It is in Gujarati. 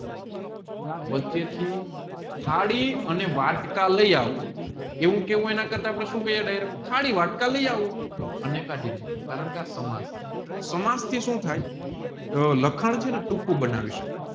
વચ્ચે થી થાળી ને વાટકા લાયી આઉં એવું કેવું એના કરતા આપણે સુ કહીએ direct થાળી વાટકા લાયી આવું કારણકે આ સમાજ ચે સમાજ થી સુ થાય કે લખાણ છેને